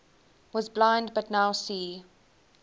was blind but now see